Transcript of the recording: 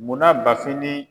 Munna Bfin ni